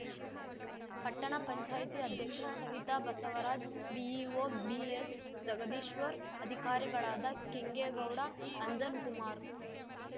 ಪಟ್ಟಣ ಪಂಚಾಯಿತಿ ಅಧ್ಯಕ್ಷ Savitha Basavaraj BEO BS Jagadishwar ಅಧಿಕಾರಿಗಳಾದ ಕೆಂಗೇಗೌಡ ಅಂಜನ್‌ಕುಮಾರ್‌